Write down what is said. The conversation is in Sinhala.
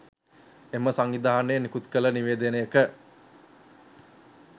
එම සංවිධානය නිකුත්කළ නිවේදනයක